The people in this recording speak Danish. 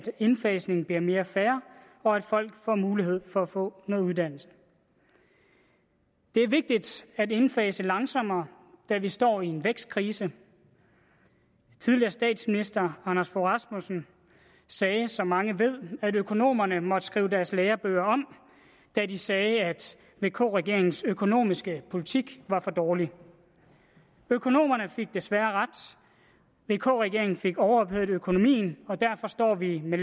indfasningen bliver mere fair og at folk får mulighed for at få noget uddannelse det er vigtigt at indfase langsommere da vi står i en vækstkrise tidligere statsminister anders fogh rasmussen sagde som mange ved at økonomerne måtte skrive deres lærebøger om da de sagde at vk regeringens økonomiske politik var for dårlig økonomerne fik desværre ret vk regeringen fik overophedet økonomien og derfor står vi med